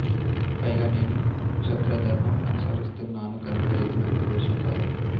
పైగా నేను క్షాత్రధర్మం అనుసరిస్తున్నాను కనుక ఇది నాకు దోషం కాదు